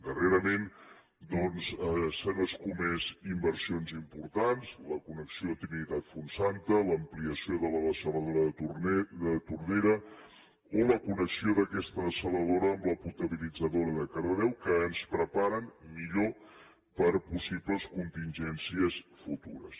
darrerament doncs s’han escomès inversions importants la connexió trinitat fontsanta l’ampliació de la dessaladora de tordera o la connexió d’aquesta dessaladora amb la potabilitzadora de cardedeu que ens preparen millor per a possibles contingències futures